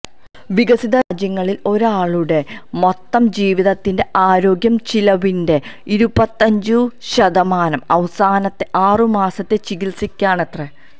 വികസിത രാജ്യങ്ങളിൽ ഒരാളുടെ മൊത്തം ജീവിതത്തിന്റെ ആരോഗ്യ ചിലവിന്റെ ഇരുപത്തഞ്ചു ശതമാനം അവസാനത്തെ ആറു മാസത്തെ ചികിത്സക്കാണത്രെ